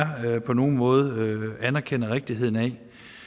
jeg på nogen måde anerkender rigtigheden af